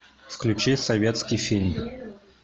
включи советский фильм